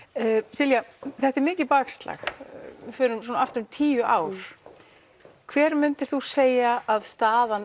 Silja þetta er mikið bakslag við förum núna aftur um tíu ár hver myndir þú segja að staðan